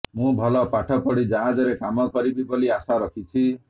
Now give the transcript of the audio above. ମୁଁ ଭଲ ପାଠ ପଢ଼ି ଜାହାଜରେ କାମ କରିବି ବୋଲି ଆଶା ରଖିଛି